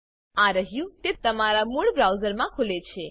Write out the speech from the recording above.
આ રહ્યું તે તમારા મૂળ બ્રાઉઝરમાં ખુલે છે